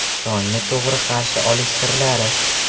Tongni to‘g‘ri qarshi olish sirlari.